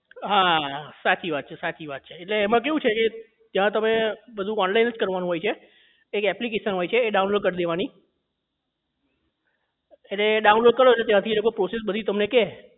હા સાચી વાત છે સાચી વાત એટલે એમાં કેવું છે કે એટલે ત્યાં તમારે બધું online જ કરવાનું હોય છે એક application હોય છે એ download કરી દેવાની એટલે download કરો ત્યાં થી એટલે એ લોકો બધી process તમને કે